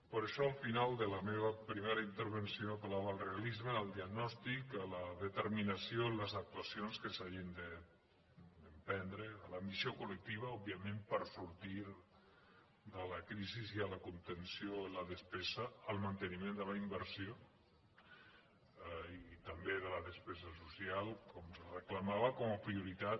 per això al final de la meva primera intervenció apel·lava al realisme al diagnòstic a la determinació en les actuacions que s’hagin d’emprendre a l’ambició col·lectiva òbviament per sortir de la crisi i a la contenció en la despesa al manteniment de la inversió i també de la despesa social com es reclamava com a prioritat